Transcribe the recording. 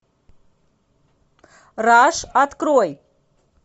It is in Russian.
раш открой